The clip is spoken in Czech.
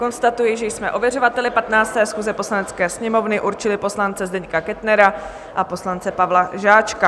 Konstatuji, že jsme ověřovateli 15. schůze Poslanecké sněmovny určili poslance Zdeňka Kettnera a poslance Pavla Žáčka.